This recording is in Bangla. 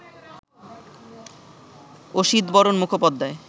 অসিতবরণ মুখোপাধ্যায়